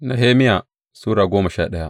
Nehemiya Sura goma sha daya